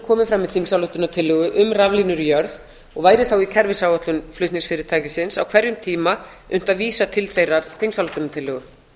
komið fram í þingsályktunartillögu um raflína um raflínur í jörð og væri þá í kerfisáætlun flutningsfyrirtækisins á hverjum tíma unnt að vísa til þeirrar þingsályktunartillögu